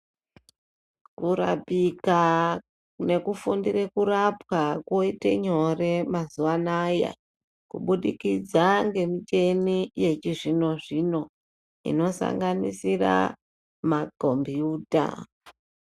Kurapika nekufundire kurapwa kwoita nyore mazuwa anaya kubudikidza ngemitemo yechizvino zvino inosanganisira makombiyuta.